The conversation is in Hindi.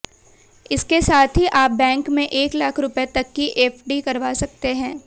इसके साथ ही आप बैंक में एक लाख रुपए तक की एफडी करवा सकते हैं